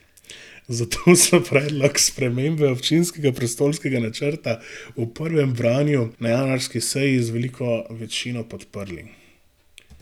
Zato so predlog spremembe občinskega prostorskega načrta v prvem branju na januarski seji z veliko večino podprli.